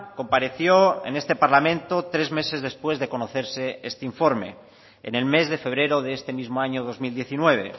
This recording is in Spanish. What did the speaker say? compareció en este parlamento tres meses después de conocerse este informe en el mes de febrero de este mismo año dos mil diecinueve